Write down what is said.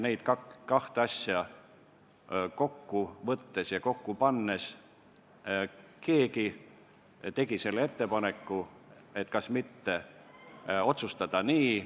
Neid kahte asja kokku võttes tegi keegi ettepaneku, et kas mitte otsustada nii.